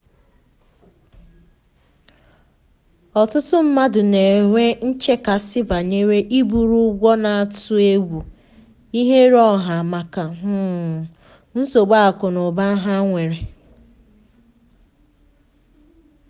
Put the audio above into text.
ọtụtụ mmadụ na-enwe nchekasị banyere iburu ụgwọ na-atụ egwu ihere ọha maka um nsogbu akụ na ụba ha nwere